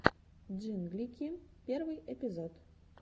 джинглики первый эпизод